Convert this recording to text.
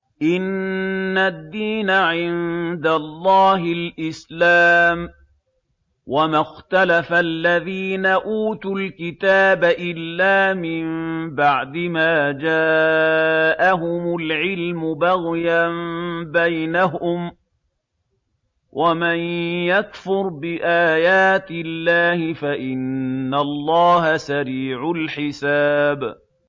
إِنَّ الدِّينَ عِندَ اللَّهِ الْإِسْلَامُ ۗ وَمَا اخْتَلَفَ الَّذِينَ أُوتُوا الْكِتَابَ إِلَّا مِن بَعْدِ مَا جَاءَهُمُ الْعِلْمُ بَغْيًا بَيْنَهُمْ ۗ وَمَن يَكْفُرْ بِآيَاتِ اللَّهِ فَإِنَّ اللَّهَ سَرِيعُ الْحِسَابِ